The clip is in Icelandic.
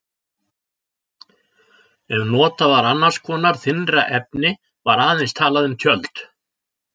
Ef notað var annars konar þynnra efni var aðeins talað um tjöld.